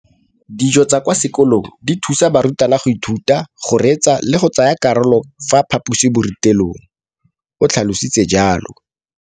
Dijo tsa kwa sekolong dithusa barutwana go ithuta, go reetsa le go tsaya karolo ka fa phaposiborutelong, o tlhalositse jalo.